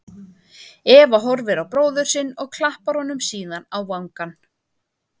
Eva horfir á bróður sinn og klappar honum síðan á vangann.